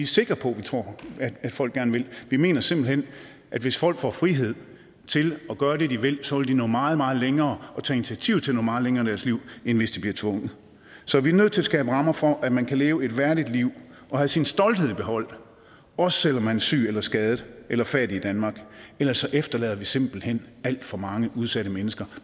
sikre på at folk gerne vil vi mener simpelt hen at hvis folk får frihed til at gøre det de vil så vil de nå meget meget længere og tage initiativ til at nå meget længere i deres liv end hvis de bliver tvunget så vi er nødt til at skabe rammer for at man kan leve et værdigt liv og have sin stolthed i behold også selv om man er syg eller skadet eller fattig i danmark ellers efterlader vi simpelt hen alt for mange udsatte menneske